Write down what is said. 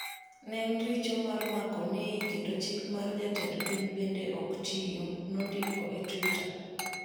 “Ne en richo mar mako Nay kendo chik mar Jatend Piny bende ok tiyo,” nondiko e Twitter.